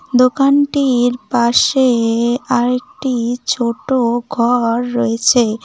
দোকানটির পাশে আর একটি ছোট ঘর রয়েছে।